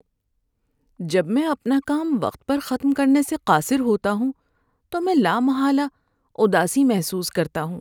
جب میں اپنا کام وقت پر ختم کرنے سے قاصر ہوتا ہوں تو میں لامحالہ اداسی محسوس کرتا ہوں۔